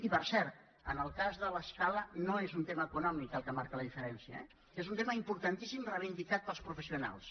i per cert en el cas de l’escala no és un tema econòmic el que marca la diferència eh és un tema importantíssim reivindicat pels professionals